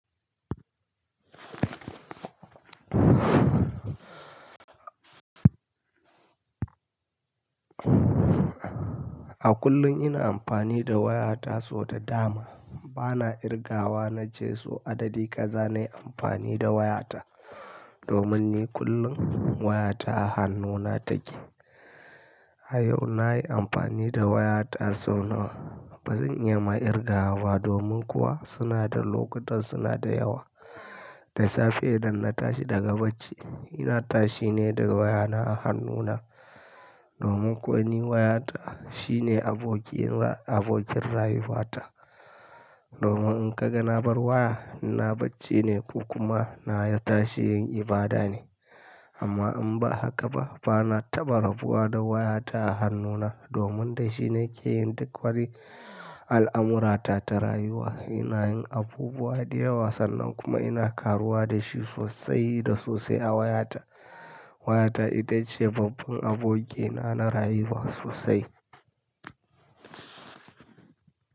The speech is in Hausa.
A kullum ina amfani da wayata so da dama. Bana irgawa na ce so adadi kaza na yi amfani da wayata domin ni kullum wayata a hannuna take. A yau nayi amfani da wayata sau nawa, bazan iya ma irgawa ba domin kuwa suna da lokutan suna da yawa. Da safe idan na tashi daga bacci ina tashi ne da wayana a hannuna domin kuwa ni wayata shine abokin ra-- abokin rayuwata. Domin in ka ga na bar waya ina bacci ne ko kuma na tashi yin ibada ne. Amma in ba haka ba bana taba rabuwa da wayata a hannuna domin da shi na ke yin duk wani al'amurata ta rayuwa. Ina yin abubuwa da yawa sannan kuma ina karuwa da shi sosai da sosai a wayata. Wayata ita ce babban abokina na rayuwa sosai.